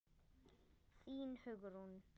Þín Hugrún.